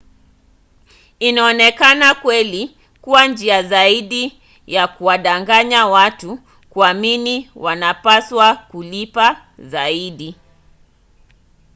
inaonekana kweli kuwa njia zaidi ya kuwadanganya watu kuamini wanapaswa kulipa zaidi